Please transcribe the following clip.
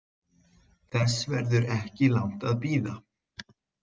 Þess verður ekki langt að bíða.